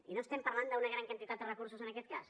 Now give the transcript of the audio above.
i no estem parlant d’una gran quantitat de recursos en aquest cas